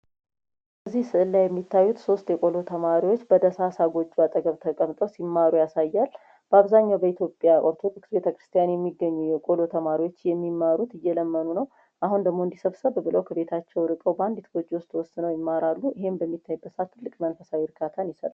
ከዚህ ምስል ላይ የምታዩት ሶስት የቆሎ ተማሪውች በደሳሳ ጎጆወች ተቀምጠው ሲማሩ ያሳያል። በአብዛኛው በኢትዮጵያ ኦርቶዶክስ ቤተ-ክርስቲያን የሚገኙ የቆሎ ተማሪዎች የሚማሩት እየለመኑ ነው። አሁን ደግሞ ከቤታቸው ውስጥ በአንድ ጎጆ ሁነው ይማራሉ። ይህም ለቤተ-ክርስቲያን ትልቅ መንፈሳዊ እርካታን ይሰጣል።